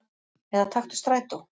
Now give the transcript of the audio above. Eða taktu strætó.